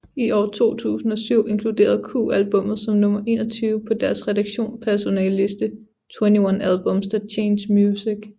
I år 2007 inkluderede Q albummet som nummer 21 på deres redaktionspersonales liste 21 Albums That Changed Music